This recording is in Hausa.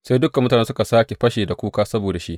Sai dukan mutane suka sāke fashe da kuka saboda shi.